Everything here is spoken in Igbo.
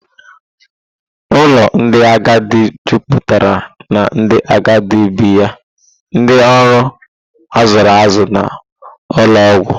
Ụlọ ndị agadi juputara na ndị agadi bi ya, ndị ọrụ a zụrụ azụ na ụlọ ọgwụ.